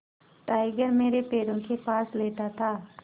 tiger मेरे पैरों के पास लेटा था